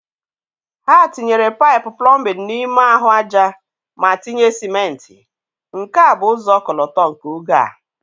Ha tinyere paịpụ plọmbin n'ime ahụ aja ma tinye sịmentị, nke a bụ ụzọ ọkọlọtọ nke oge a.